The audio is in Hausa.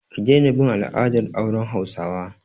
Ki daina bin al'adar auren hausawa!